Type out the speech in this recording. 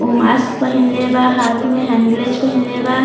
उ मास्क पहिनले बा हाथ में हंग्लेज़ पहिनले बा।